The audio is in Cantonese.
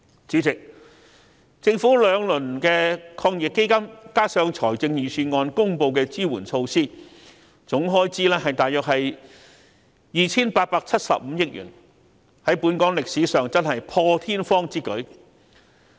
主席，政府推出兩輪抗疫基金，加上預算案公布的支援措施，總開支大約是 2,875 億元，在本港真的是破天荒之舉。